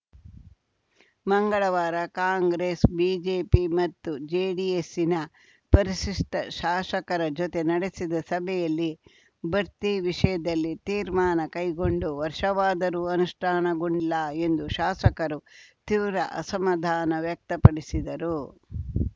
ಮಂಗಳವಾರ ಕಾಂಗ್ರೆಸ್‌ ಬಿಜೆಪಿ ಮತ್ತು ಜೆಡಿಎಸ್ಸಿನ ಪರಿಶಿಷ್ಟಶಾಸಕರ ಜೊತೆ ನಡೆಸಿದ ಸಭೆಯಲ್ಲಿ ಬಡ್ತಿ ವಿಷಯದಲ್ಲಿ ತೀರ್ಮಾನ ಕೈಗೊಂಡು ವರ್ಷವಾದರೂ ಅನುಷ್ಠಾನಗೊಂಡಿಲ್ಲ ಎಂದು ಶಾಸಕರು ತೀವ್ರ ಅಸಮಾಧಾನ ವ್ಯಕ್ತಪಡಿಸಿದರು